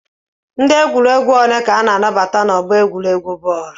Ndị egwuregwu ole ka a na-anabata n'ọgbọ egwuregwu bọọlụ?